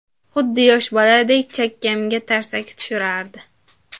Xuddi yosh boladek chakkamga tarsaki tushirardi.